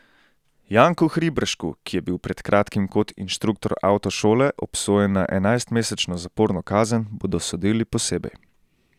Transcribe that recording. Janku Hriberšku, ki je bil pred kratkim kot inštruktor avtošole obsojen na enajstmesečno zaporno kazen, bodo sodili posebej.